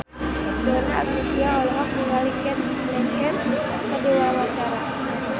Donna Agnesia olohok ningali Cate Blanchett keur diwawancara